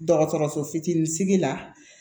Dɔgɔtɔrɔso fitinin sigi la